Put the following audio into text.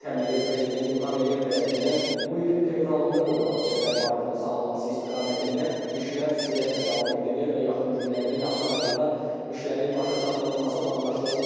təməli prezident İlham Əliyev tərəfindən bu ilin fevralında qoyulan Zəfər parkının salınması istiqamətində işlər sürətlə davam etdirilir və yaxın günlərdə, yaxın aylarda işlərin başa çatdırılması planlaşdırılır.